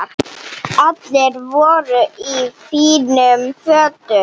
Allir voru í fínum fötum.